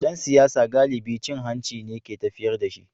Dan siyasa galibi cin hanci ne ke tafiyar da shi.